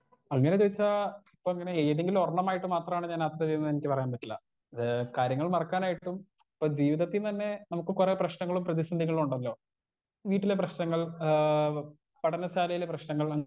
Speaker 1 അങ്ങനെ ചോദിച്ചാ ഇപ്പിങ്ങനെ ഏതെങ്കിലൊരണ്ണമായിട്ട് മാത്രാണ് ഞാൻ എനിക്ക് പറയാൻ പറ്റില്ല ഏ കാര്യങ്ങൾ മറക്കാനായിട്ടും ഇപ്പൊ ജീവിതത്തിന്നന്നെ നമുക്ക് കൊറേ പ്രശ്നങ്ങളും പ്രതിസന്ധികളും ഉണ്ടല്ലോ വീട്ടിലെ പ്രശ്നങ്ങൾ ആ പഠനശാലയിലെ പ്രശ്നങ്ങൾ.